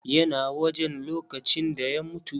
YA na wajen lokacin da ya mutu.